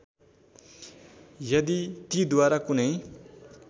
यदि तीद्वारा कुनै